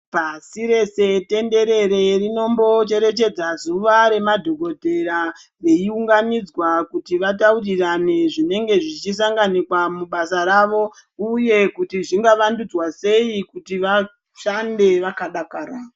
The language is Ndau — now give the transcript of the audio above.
Pasi rese tenderere rinombocherechedza zuwa remadhokotera veiunganidzwa kuti vataurirane zvinenge zvichisanganikwa pabasa Pavo uye kuti zvingavandudzwe sei kuti vashande vakadakara.